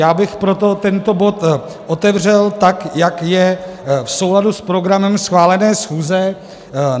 Já bych proto tento bod otevřel, tak jak je v souladu s programem schválené schůze.